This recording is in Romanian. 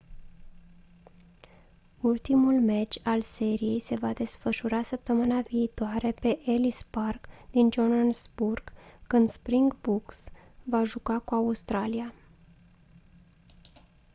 ultimul meci al seriei se va desfășura săptămâna viitoare pe ellis park din johannesburg când springboks va juca cu australia